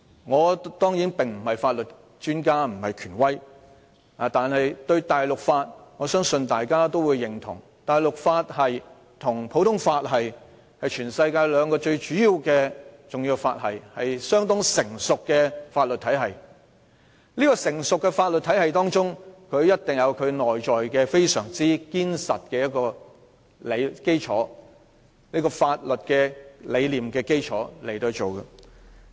我當然不是法律專家或權威，但是，我相信大家也會認同，大陸法與普通法是全世界兩個最主要、重要和相當成熟的法律體系，而一個成熟的法律體系，一定建立在非常堅實的法律基礎上。